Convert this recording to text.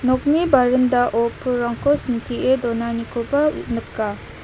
nokni barendao pulrangko sintie donanikoba nika.